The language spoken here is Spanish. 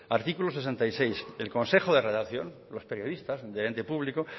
artículo sesenta y seis el consejo de redacción los periodista del ente público